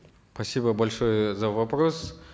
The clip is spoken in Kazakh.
спасибо большое за вопрос